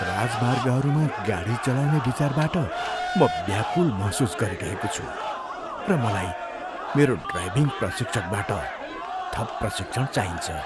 राजमार्गहरूमा गाडी चलाउने विचारबाट म व्याकुल महसुस गरिरहेको छु, र मलाई मेरो ड्राइभिङ प्रशिक्षकबाट थप प्रशिक्षण चाहिन्छ।